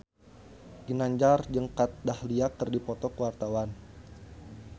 Ginanjar jeung Kat Dahlia keur dipoto ku wartawan